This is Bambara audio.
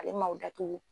Ale maw datugu